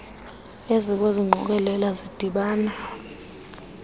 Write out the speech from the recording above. ezikwezi ngqokelela zidibana